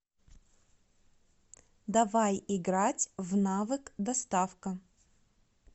давай играть в навык доставка